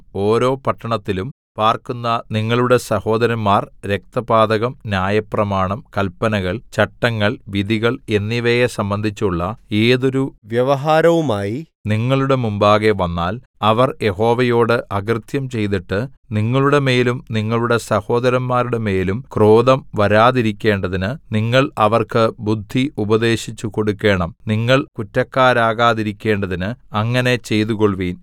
ഓരോ പട്ടണത്തിലും പാർക്കുന്ന നിങ്ങളുടെ സഹോദരന്മാർ രക്തപാതകം ന്യായപ്രമാണം കല്പനകൾ ചട്ടങ്ങൾ വിധികൾ എന്നിവയെ സംബന്ധിച്ചുള്ള ഏതൊരു വ്യവഹാരവുമായി നിങ്ങളുടെ മുമ്പാകെ വന്നാൽ അവർ യഹോവയോട് അകൃത്യം ചെയ്തിട്ട് നിങ്ങളുടെമേലും നിങ്ങളുടെ സഹോദരന്മാരുടെമേലും ക്രോധം വരാതിരിക്കേണ്ടതിന് നിങ്ങൾ അവർക്ക് ബുദ്ധി ഉപദേശിച്ചു കൊടുക്കണം നിങ്ങൾ കുറ്റക്കാരാകാതിരിക്കേണ്ടതിന് അങ്ങനെ ചെയ്തുകൊൾവിൻ